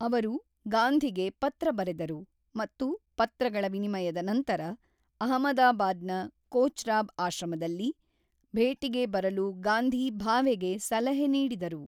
ಅವರು ಗಾಂಧಿಗೆ ಪತ್ರ ಬರೆದರು ಮತ್ತು ಪತ್ರಗಳ ವಿನಿಮಯದ ನಂತರ, ಅಹಮದಾಬಾದ್‌ನ ಕೊಚ್ರಾಬ್ ಆಶ್ರಮದಲ್ಲಿ ಭೇಟಿಗೆ ಬರಲು ಗಾಂಧಿ ಭಾವೆಗೆ ಸಲಹೆ ನೀಡಿದರು.